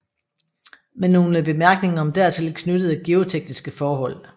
Med nogle Bemærkninger om dertil knyttede geotekniske Forhold